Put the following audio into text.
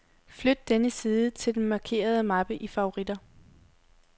Flyt denne side til den markerede mappe i favoritter.